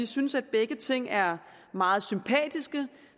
synes at begge ting er meget sympatiske